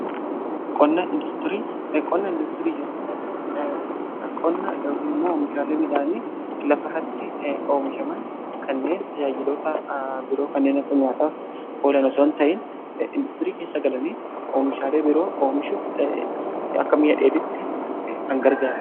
Qonna indaastirii jechuun immoo oomishaalee midhaanii lafa irratti oomishaman kanneen tajaajilota biroo kanneen akka nyaataaf oolan osoo hin ta'in indaastirii keessa galanii oomishaalee biroo oomishuuf akka meeshaa dheedhitti kan gargaaruudha.